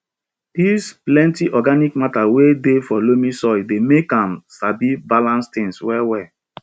di plenty organic matter wey dey for loamy soil dey make am sabi balance things well well